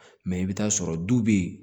Mɛ i bɛ t'a sɔrɔ du bɛ yen